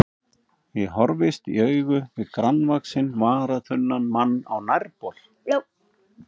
Ég horfist í augu við grannvaxinn, varaþunnan mann á nærbol.